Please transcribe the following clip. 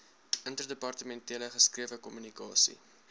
interdepartementele geskrewe kommunikasie